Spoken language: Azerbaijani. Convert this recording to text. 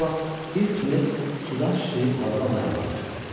Elə bu vaxt bir tunes sudan şişləyib havada mayallaq açdı.